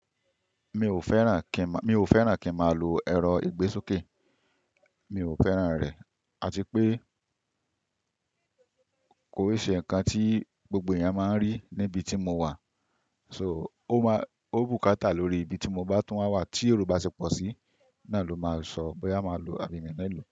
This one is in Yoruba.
Mi ò fẹ́ràn kí, mi ò fẹ́ràn kí n máa lo ẹ̀rọ ìgbésokè. Mi ò fẹ́ràn rẹ̀, àti pé kò ṣe ǹkan tí gbogbo ẹ̀yàn máa ń rí níbi tí mo wà. So, ó máa, ó bùkátà lórí ibi tí mo bá tún máa wà tí ero ba ṣe pọ̀ sí. Na ló máa sọ boya máa lo àbì mi nilo.